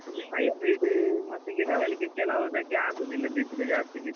hybrid ಮತ್ತೆ ಗಿಡಗಳಿಗೆ ಕೆಲಾವ್ದಕ್ಕೆ ಆಗುದಿಲ್ಲ ಬಿಸಿಲು ಜಾಸ್ತಿ ಬಿದ್ರು.